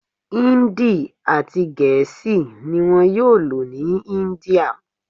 Hindi ati gèésì ni wón yóò lò ní India